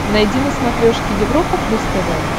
найди на смотрешке европа плюс тв